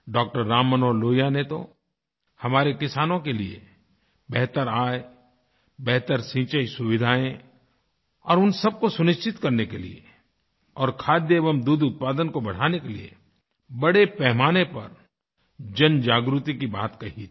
डॉ० राम मनोहर लोहिया ने तो हमारे किसानों के लिए बेहतर आय बेहतर सिंचाईसुविधाएँ और उन सब को सुनिश्चित करने के लिए और खाद्य एवं दूध उत्पादन को बढ़ाने के लिए बड़े पैमाने पर जनजागृति की बात कहीथी